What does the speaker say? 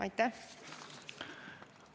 Aitäh!